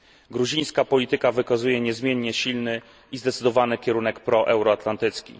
Gruzińska polityka wykazuje niezmiennie silny i zdecydowany kierunek proeuroatlantycki.